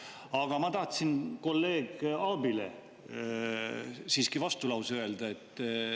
Aga ma tahtsin kolleeg Aabile siiski vastulause öelda.